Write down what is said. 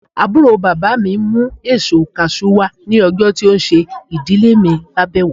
Àbúrò bàbá mí mú èsó cashew wá ní ọjọ tí ó ṣe ìdílè mi lábéwò